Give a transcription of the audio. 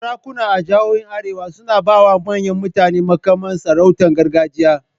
Sarakuna a jihohin Arewa suna ba wa manyan mutane muƙaman sarautar gargajiya.